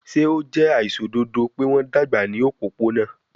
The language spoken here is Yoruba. Ṣe o jẹ aiṣododo pe wọn dagba ni opopona?